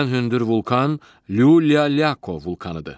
Ən hündür vulkan Lyuliako vulkanıdır.